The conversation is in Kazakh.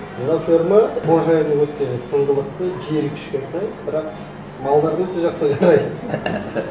мына ферма қожайыны өте тыңғылықты жері кішкентай бірақ малдарына өте жақсы қарайды